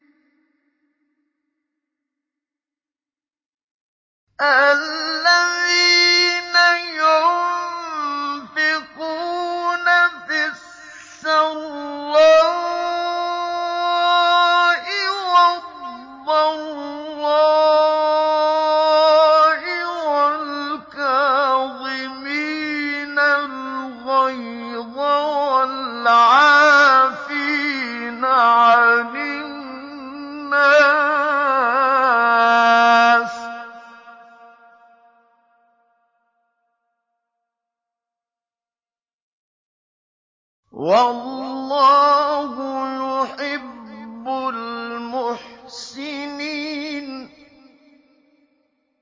الَّذِينَ يُنفِقُونَ فِي السَّرَّاءِ وَالضَّرَّاءِ وَالْكَاظِمِينَ الْغَيْظَ وَالْعَافِينَ عَنِ النَّاسِ ۗ وَاللَّهُ يُحِبُّ الْمُحْسِنِينَ